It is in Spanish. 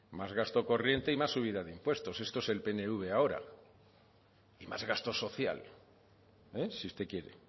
más gasto corriente y más subida de impuestos esto es el pnv ahora y más gasto social si usted quiere